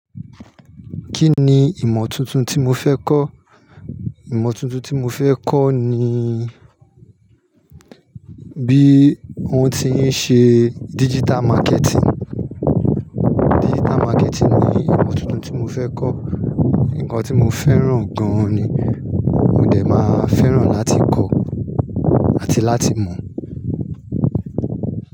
Kí ni ìmọ̀ tuntun tí mo fẹ́ kọ́? Ìmọ̀ tuntun tí mo fẹ́ kọ́ ni bí wọ́n ti ń ṣe digital marketing. Digital marketing ni ìmọ̀ tuntun tí mo fẹ́ kọ́. Nǹkan tí mo fẹ́ràn gan ni. Mo dẹ̀ máa fẹ́ràn láti kọ́ àti láti mọ̀